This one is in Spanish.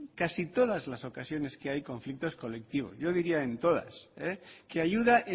casi todas las ocasiones que hay conflictos colectivos yo diría en todas que ayuda